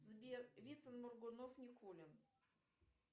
сбер вицин моргунов никулин